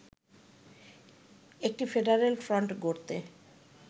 একটি ‘federal front’ গড়তে